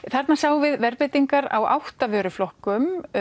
þarna sáum við verðbreytingar á átta vöruflokkum